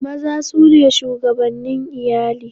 Maza su ne shugabannin iyali.